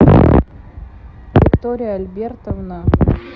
виктория альбертовна